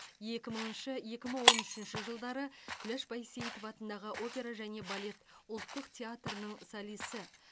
екі мыңыншы екі мың он үшінші жылдары күләш байсейітова атындағы опера және балет ұлттық театрының солисі